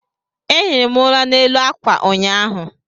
Ehiri m ụla n'elu ákwà ụnyaahụ